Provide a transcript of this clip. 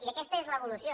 i aquesta és l’evolució